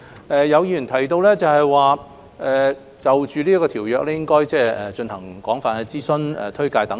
有議員提到，政府應就《2019年版權條例草案》進行廣泛諮詢和推廣。